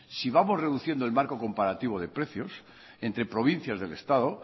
si vamos reduciendo el marco comparativo de precios entre provincias del estado